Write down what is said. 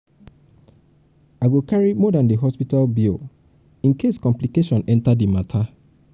i go carry more dan di hospital bill bill incase complication enta di mata.